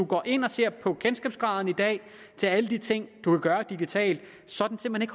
går ind og ser på kendskabsgraden i dag til alle de ting kan gøre digitalt så er den simpelt